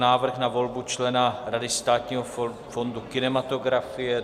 Návrh na volbu člena Rady Státního fondu kinematografie